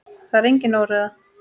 Það er engin óreiða.